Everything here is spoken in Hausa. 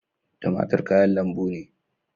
Tumatur kayan lambu ne.